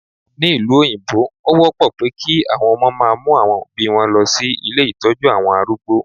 Ní ìlú òyìnbó, ó wọ́pọ̀ pé kí àwọn ọmọ máa mú àwọn Òbí wọn lọ sí ilé Ìtọ́jú àwọn arúgbó.